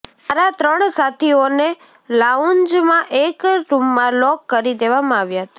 મારા ત્રણ સાથીઓને લાઉન્જમાં એક રૂમમાં લોક કરી દેવામાં આવ્યા હતા